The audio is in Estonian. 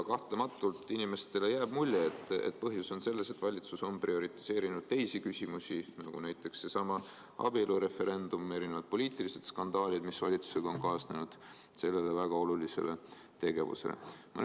Kahtlematult jääb inimestele mulje, et põhjus on selles, et valitsus on prioriseerinud teisi küsimusi, nagu näiteks seesama abielureferendum ja erinevad poliitilised skandaalid, mis valitsusega on kaasnenud, selle väga olulise tegevuse asemel.